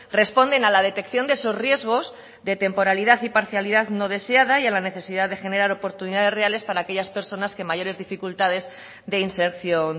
responden a la detección de esos riesgos de temporalidad y parcialidad no deseada y a la necesidad de generar oportunidades reales para aquellas personas que mayores dificultades de inserción